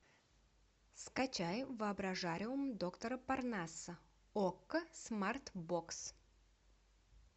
скачай воображариум доктора парнаса окко смарт бокс